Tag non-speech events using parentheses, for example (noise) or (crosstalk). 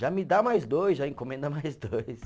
Já me dá mais dois, já encomenda mais dois. (laughs)